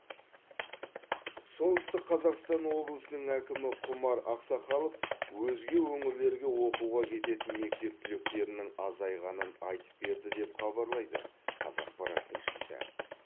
солтүстік қазақстан облысының әкімі құмар ақсақалов өзге өңірлерге оқуға кететін мектеп түлектерінің азайғанын айтып берді деп хабарлайды қазақпарат тілшісі